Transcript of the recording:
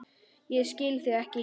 Ég skil þig ekki.